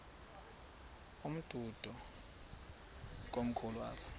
umdudo komkhulu apha